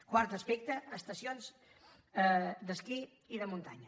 quart aspecte estacions d’esquí i de muntanya